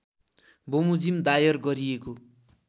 बमोजिम दायर गरिएको